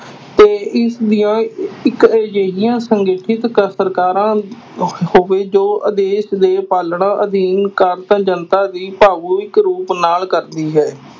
ਤੇ ਇਸਦੀਆਂ ਇੱਕ ਅਜਿਹੀਆਂ ਸੰਗਠਿਤ ਕ ਸਰਕਾਰਾਂ ਹੋਵੇ ਜੋ ਦੇਸ ਦੇ ਪਾਲਣਾ ਅਧੀਨ ਜਨਤਾ ਦੀ ਰੂਪ ਨਾਲ ਕਰਦੀ ਹੈ।